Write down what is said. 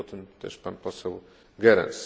mówił o tym też pan poseł Goerens.